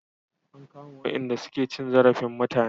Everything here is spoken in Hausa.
An kama wayanda su ke cin zarafin mutane